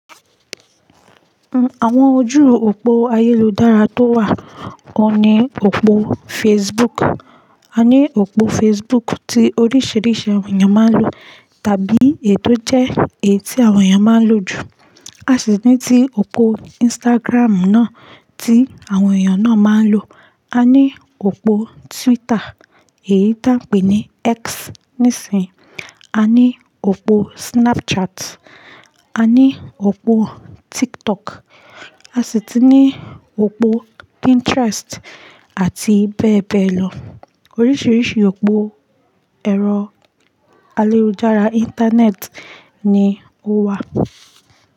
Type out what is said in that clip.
Àwọn ojú òpó ayélujára tó wà, o ní òpó Facebook. A ní òpó Facebook tí oríṣiríṣi àwọn èèyàn máa ń lò, tàbí èyí tó jẹ́ èyí tí àwọn èèyàn máa ń lò jù. A sì ní tí òpó Instagram náà tí àwọn èèyàn náà máa ń lò. A ní òpó Twitter, èyí tí a ń pè ní X nísìínyi. A ní òpó Snapchat, a ní òpó TikTok, a sì ti ní òpó Pinterest àti bẹ́ẹ̀ bẹ́ẹ̀ lọ. Oríṣiríṣi òpó ẹ̀rọ ayélujára Íńtánẹ́ẹ̀tì ni ó wà.